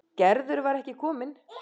Gerður var ekki komin.